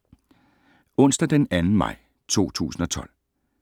Onsdag d. 2. maj 2012